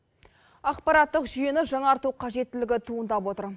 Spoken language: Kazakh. ақпараттық жүйені жаңарту қажеттілігі туындап отыр